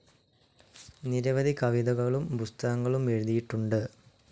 നിരവധി കവിതകളും പുസ്തകങ്ങളും എഴുതിയിട്ടുണ്ട്.